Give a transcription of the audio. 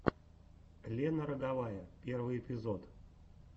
лена роговая первый эпизод